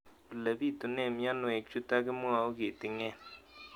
Ole pitune mionwek chutok ko kimwau kitig'�n